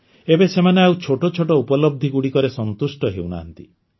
ଏବେ ସେମାନେ ଆଉ ଛୋଟ ଛୋଟ ଉପଲବ୍ଧିଗୁଡ଼ିକରେ ସନ୍ତୁଷ୍ଟ ହେଉନାହାନ୍ତି